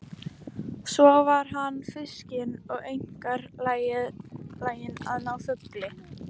Svo var hann fiskinn og einkar laginn að ná fugli.